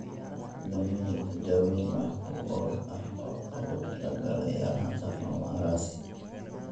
Hadda ma jirto daaweyn wax ku ool ah oo loogu talagalay yaraanta fumarase.